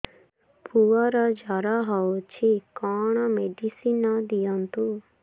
ପୁଅର ଜର ହଉଛି କଣ ମେଡିସିନ ଦିଅନ୍ତୁ